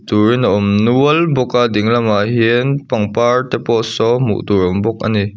turin a awm nual bawk a ding lamah hian pangpar te pawh saw hmuh tur a awm bawk ani.